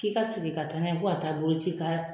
K'i ka sigi ka taa n'a ye ko a taa boloci ka